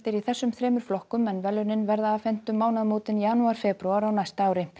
í þessum þremur flokkum en verðlaunin verða afhent um mánaðamótin janúar febrúar á næsta ári